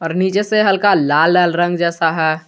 नीचे से हल्का लाल लाल रंग जैसा है।